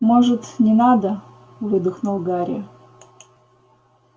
может не надо выдохнул гарри